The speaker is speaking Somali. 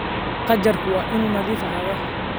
Qajaarku waa inuu nadiif ahaadaa.